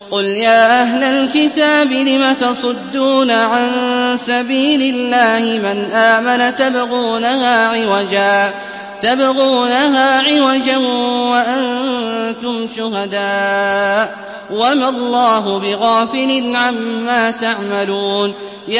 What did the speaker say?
قُلْ يَا أَهْلَ الْكِتَابِ لِمَ تَصُدُّونَ عَن سَبِيلِ اللَّهِ مَنْ آمَنَ تَبْغُونَهَا عِوَجًا وَأَنتُمْ شُهَدَاءُ ۗ وَمَا اللَّهُ بِغَافِلٍ عَمَّا تَعْمَلُونَ